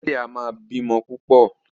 Ẹlẹ́dẹ̀ a máa bímọ púpò.